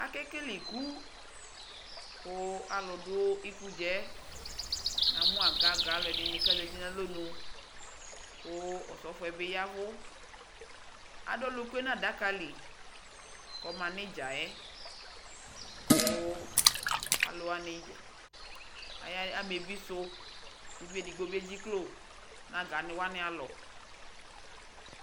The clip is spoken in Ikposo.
Akekele iikukuu aluu duu ikuɖʒaɛ namu aluagaga dini kaƶati nu alonuu ku ɔsɔfɔɛ bi yavu ku aduu ɔlukue nadakali kɔmaniɖʒaɛkuu aya amebi su kuviedigbo bi eɖʒiklo naga niwani alɔ